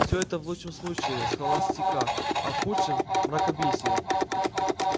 все это в лучшем случае схоластика а в худшем мракобесие